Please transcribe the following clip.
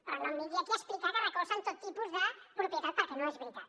però no em vingui aquí a explicar que recolzen tot tipus de propietat perquè no és veritat